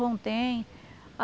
João tem?